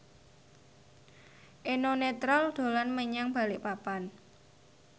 Eno Netral dolan menyang Balikpapan